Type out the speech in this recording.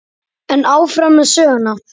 En áfram með söguna.